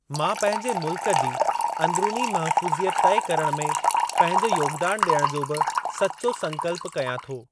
मां पंहिंजे मुल्‍क जी अंदरुनी महफूज़ि‍यत तइ करण में पंहिंजो योगदान ॾियण जो बि सच्‍चो संकल्प कयां थो।